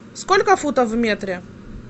сколько футов в метре